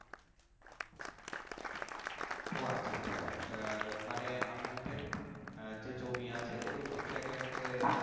ও আচ্ছা আচ্ছা আহ মানে আপনাদের আহ যে জমি আছে ওইসব জায়গায় হচ্ছে